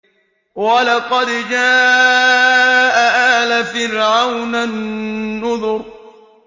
وَلَقَدْ جَاءَ آلَ فِرْعَوْنَ النُّذُرُ